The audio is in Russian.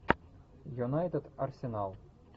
юнайтед арсенал